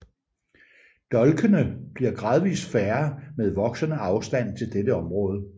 Dolkene bliver gradvist færre med voksende afstand til dette område